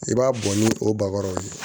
I b'a bɔ ni o bagaw ye